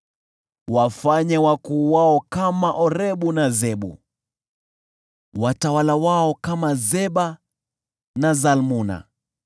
Wafanye wakuu wao kama Orebu na Zeebu, watawala wao kama Zeba na Salmuna,